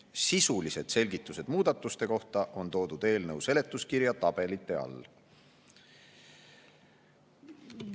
Sisulised selgitused muudatuste kohta on toodud eelnõu seletuskirja tabelite all.